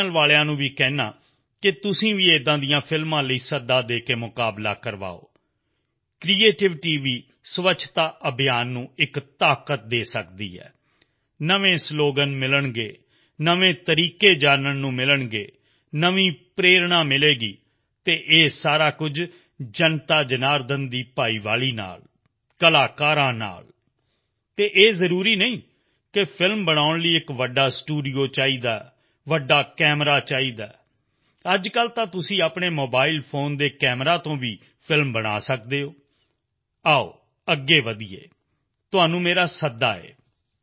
channel ਵਾਲਿਆਂ ਨੂੰ ਵੀ ਕਹਿੰਦਾ ਹਾਂ ਕਿ ਤੁਸੀਂ ਵੀ ਅਜਿਹੀਆਂ ਫ਼ਿਲਮਾਂ ਲਈ ਸੱਦਾ ਦੇ ਕੇ ਮੁਕਾਬਲੇ ਕਰੋ ਕ੍ਰਿਏਟੀਵਿਟੀ ਵੀ ਸਵੱਛਤਾ ਅਭਿਆਨ ਨੂੰ ਇੱਕ ਤਾਕਤ ਦੇ ਸਕਦੀ ਹੈ ਨਵੇਂ ਸਲੋਗਨ ਮਿਲਣਗੇ ਨਵੇਂ ਤਰੀਕੇ ਜਾਨਣ ਨੂੰ ਮਿਲਣਗੇ ਨਵੀਂ ਪ੍ਰੇਰਣਾ ਮਿਲੇਗੀ ਅਤੇ ਇਹ ਸਭ ਕੁਝ ਜਨਤਾਜਨਾਰਦਨ ਦੀ ਭਾਗੀਦਾਰੀ ਨਾਲ ਆਮ ਕਲਾਕਾਰਾਂ ਤੋਂ ਅਤੇ ਇਹ ਜ਼ਰੂਰੀ ਨਹੀਂ ਹੈ ਕਿ ਫ਼ਿਲਮ ਬਣਾਉਣ ਲਈ ਵੱਡਾ ਸਟੂਡੀਓ ਚਾਹੀਦਾ ਹੈ ਅਤੇ ਵੱਡਾ ਕੈਮੇਰਾ ਚਾਹੀਦਾ ਹੈ ਅਰੇ ਅੱਜ ਕੱਲ੍ਹ ਤਾਂ ਆਪਣੇ ਮੋਬਾਈਲ ਫੋਨ ਦੇ ਕੈਮੇਰਾ ਨਾਲ ਵੀ ਤੁਸੀਂ ਫ਼ਿਲਮ ਬਣਾ ਸਕਦੇ ਹੋ ਆਓ ਅੱਗੇ ਵਧੀਏ ਤੁਹਾਨੂੰ ਮੇਰਾ ਸੱਦਾ ਹੈ